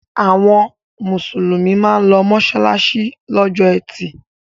Àwọn Mùsùlùmí máa ń lọ mọ́ṣáláṣí lọ́jọ́ ẹtì.